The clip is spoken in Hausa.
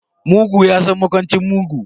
Mugu ya san makwancin mugu.